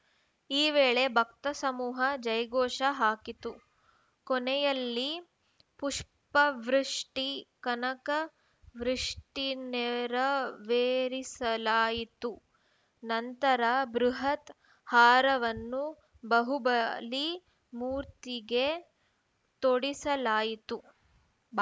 ಈ ವೇಳೆ ಭಕ್ತ ಸಮೂಹ ಜೈಘೋಷ ಹಾಕಿತು ಕೊನೆಯಲ್ಲಿ ಪುಷ್ಪವೃಷ್ಟಿ ಕನಕ ವೃಷ್ಟಿ ನೆರವೇರಿಸಲಾಯಿತು ನಂತರ ಬೃಹತ್‌ ಹಾರವನ್ನು ಬಹುಬಲಿ ಮೂರ್ತಿಗೆ ತೊಡಿಸಲಾಯಿತು